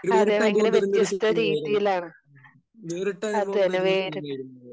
വേറിട്ട അനുഭവം തരുന്ന ഒരു സിനിമയായിരുന്നു. വേറിട്ട അനുഭവം തരുന്ന സിനിമയായിരുന്നത്.